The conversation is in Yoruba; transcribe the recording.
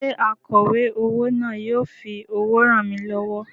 Ṣé akọ̀wé owó náà yóò fi owó ràn mí lọ́wọ́?